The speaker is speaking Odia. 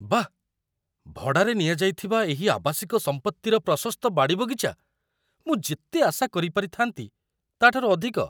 ବାଃ, ଭଡ଼ାରେ ନିଆଯାଇଥିବା ଏହି ଆବାସିକ ସମ୍ପତ୍ତିର ପ୍ରଶସ୍ତ ବାଡ଼ିବଗିଚା, ମୁଁ ଯେତେ ଆଶା କରିପାରିଥାନ୍ତି, ତା'ଠାରୁ ଅଧିକ!